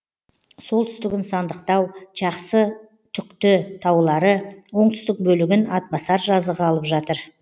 солтүстігін сандықтау жақсытүкті таулары оңтүстік бөлігін атбасар жазығы алып жатыр